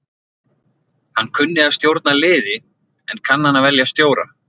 Hann kunni að stjórna liði en kann hann að velja stjóra?